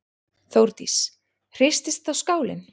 Þórdís: Hristist þá skálinn?